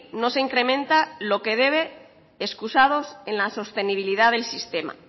no se incrementa lo que debe escusados en la sostenibilidad del sistema